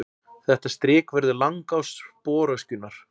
Þetta strik verður langás sporöskjunnar.